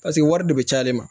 Paseke wari de bɛ ci ale ma